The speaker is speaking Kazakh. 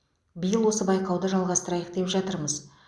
биыл осы байқауды жалғастырайық деп жатырмыз